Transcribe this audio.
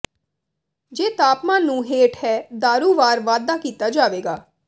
ਜੇ ਤਾਪਮਾਨ ਨੂੰ ਹੇਠ ਹੈ ਦਾਰੂ ਵਾਰ ਵਾਧਾ ਕੀਤਾ ਜਾਵੇਗਾ